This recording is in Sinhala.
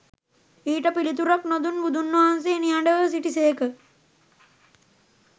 ඊට පිළිතුරක් නොදුන් බුදුන් වහන්සේ නිහඬව සිටිසේක